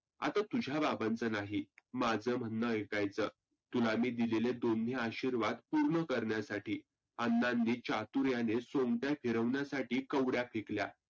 आता तुझ्या बाबांच नाही. माझं म्हणन ऐकायचं तुला मी दिलेले दोन्ही आशिर्वाद पुर्ण करण्यासाठी. अण्णांनी चातुर्याने सोंगट्या फिरवण्यासाठी कवड्या फेकल्या.